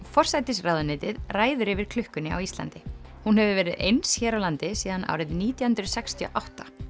forsætisráðuneytið ræður yfir klukkunni á Íslandi hún hefur verið eins hér á landi síðan árið nítján hundruð sextíu og átta